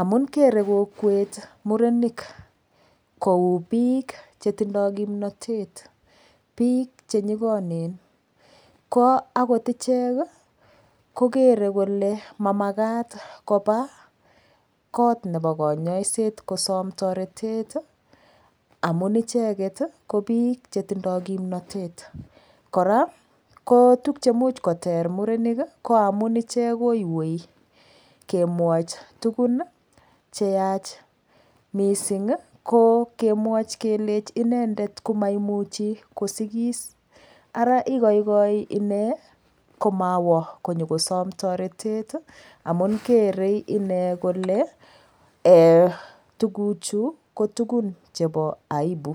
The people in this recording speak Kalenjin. amun kerei kokwet murenik kou piik chetindoi kimnotet piik chenyikonen ko akot ichek kokerei kole mamakaat kopa koot nepo konyoiset kosom toretet amun icheket ko piik chetindoi kimnotet kora kotukche muuch koter murenik koamun ichek koiwei kemwoch tukun cheyach mising ko kemwoch kelech inendet komaimuchi kosikis ara ikoikoi ine komawa konyokosom toretet amun kerei ine kole tukuchu ko tukun chepo aibu.